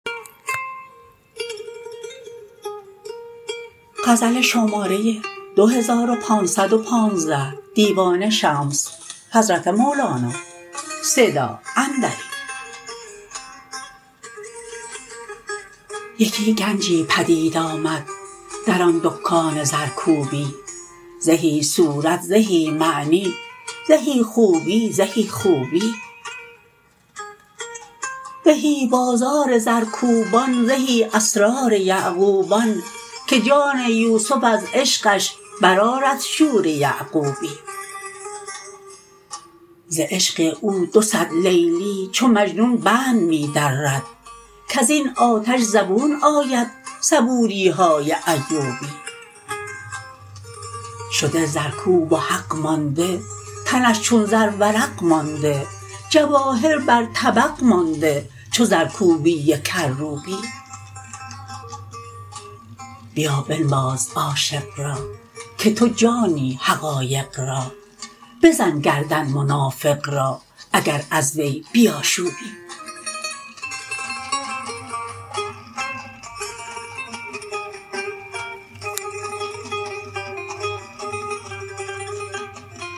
یکی گنجی پدید آمد در آن دکان زرکوبی زهی صورت زهی معنی زهی خوبی زهی خوبی زهی بازار زرکوبان زهی اسرار یعقوبان که جان یوسف از عشقش برآرد شور یعقوبی ز عشق او دو صد لیلی چو مجنون بند می درد کز این آتش زبون آید صبوری های ایوبی شده زرکوب و حق مانده تنش چون زرورق مانده جواهر بر طبق مانده چو زرکوبی کروبی بیا بنواز عاشق را که تو جانی حقایق را بزن گردن منافق را اگر از وی بیاشوبی